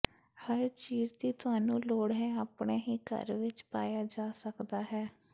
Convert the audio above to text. ਹਰ ਚੀਜ਼ ਦੀ ਤੁਹਾਨੂੰ ਲੋੜ ਹੈ ਆਪਣੇ ਹੀ ਘਰ ਵਿਚ ਪਾਇਆ ਜਾ ਸਕਦਾ ਹੈ